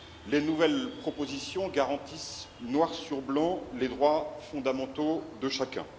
Les nouvelles propositions garantissent, noir sur blanc, les droits fondamentaux de chacun.